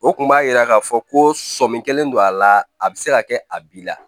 O kun b'a yira k'a fɔ ko sɔmi kelen don a la a bɛ se ka kɛ a b'i la